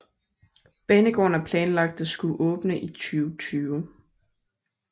Banegården er planlagt at skulle åbne i 2020